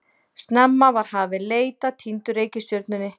Snemma var hafin leit að týndu reikistjörnunni.